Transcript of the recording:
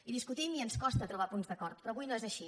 i discutim i ens costa trobar punts d’acord però avui no és així